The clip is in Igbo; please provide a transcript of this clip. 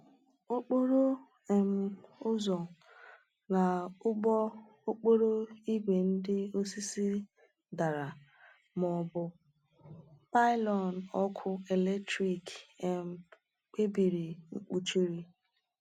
Okporo um ụzọ na ụgbọ okporo ígwè ndị osisi dara ma ọ bụ pylon ọkụ eletrik um mebiri kpuchiri.